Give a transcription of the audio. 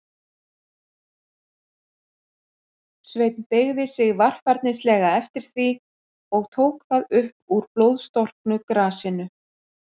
Sveinn beygði sig varfærnislega eftir því, og tók það upp úr blóðstorknu grasinu.